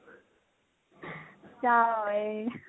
ਜਾ ਓਏ